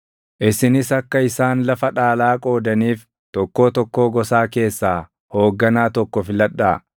Isinis akka isaan lafa dhaalaa qoodaniif tokkoo tokkoo gosaa keessaa hoogganaa tokko filadhaa.